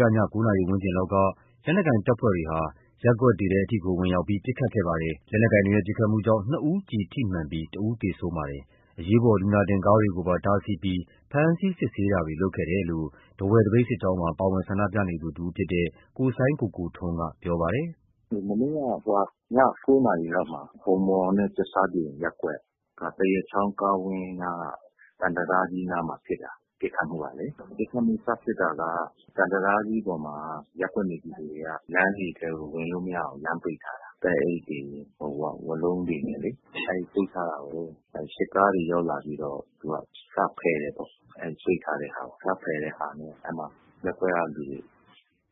က ည ၉ နာရီဝန်းကျင်လောက်က လက်နက်ကိုင်တပ်ဖွဲ့တွေက ရပ်ကွက်တွေထဲထိကို ဝင်ရောက်ပြီး ပစ်ခတ်မှုတွေလုပ်ခဲ့ပါတယ်။ လက်နက်ကိုင်တွေရဲ့ ပစ်ခတ်မှုကြောင့် နှစ်ဦးကျည်ထိမှန်ခဲ့ပြီး တစ်ဦးသေဆုံးခဲ့ပါတယ်။ အရေးပေါ်လူနာတင်ကားတွေကိုပါ တားဆီးပြီး ဖမ်းဆီးစစ်ဆေးတာတွေလုပ်ခဲ့တယ်လို့ ထားဝယ် သပိတ်စစ်ကြောင်းမှာ ပါဝင်ဆန္ဒပြနေသူတစ်ဦးဖြစ်တဲ့ ကိုစိုင်းကိုကိုထွန်းက ပြောပါတယ်။ “မနေ့ည ၉ နာရီဝန်းကျင်လောက်မှာ ဂမ်မော်နဲ့ ကြက်ဆားပြင်ရပ်ကွက်က သံတံတားကြီးနားမှာ ဖြစ်တာ ပစ်ခတ်မှုစဖြစ်တာကလေ။ ပစ်ခတ်မှု စဖြစ်တာက သံတံတားကြီးပေါ်မှာ ရပ်ကွက်နေပြည်သူတွေက ရပ်ကွက်ထဲကို ဝင်လို့မရအောင် လမ်းပိတ်ထားတာ။ သဲအိတ်တွေ ဝါးလုံးတွေနဲ့လေ။ အဲ့လိုပိတ်ထားတာကို စစ်ကားတွေ ရောက်လာပြီးတော့ စဖယ်တယ်ပေါ့။ ပိတ်ထားတာကို စဖယ်တာမှာ ရပ်ကွက်ကလူတွေ